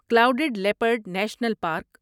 clouded leopard national park